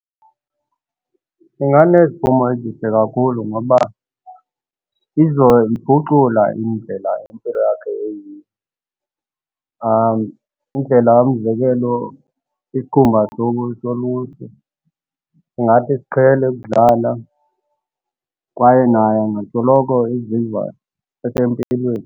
Kunganeziphumo ezihle kakhulu ngoba izoyiphucula indlela impilo yakho eyiyo. Indlela umzekelo isikhumba ntsuku solusu singathi siqhele ukudlala kwaye naye angasoloko eziva esempilweni.